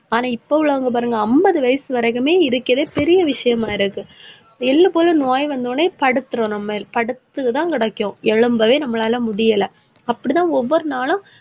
ஆனா, இப்ப உள்ளவங்க பாருங்க அம்பது வயசு வரைக்குமே இருக்கறதே பெரிய விஷயமா இருக்கு எள்ளு போல நோய் வந்தவுடனே படுத்துரும் நம்ம. படுத்துதான் கிடைக்கும். எளும்பவே நம்மளால முடியலை. அப்படிதான் ஒவ்வொரு நாளும்,